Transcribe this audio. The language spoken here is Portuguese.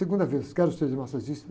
Segunda vez, quero ser massagista.